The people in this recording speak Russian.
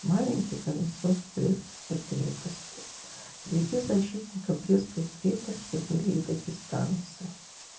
маленький колесо брестской крепости среди защитников брестской крепости были и дагестанцы